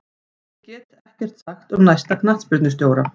Ég get ekkert sagt um næsta knattspyrnustjóra.